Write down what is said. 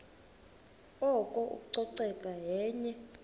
oko ucoceko yenye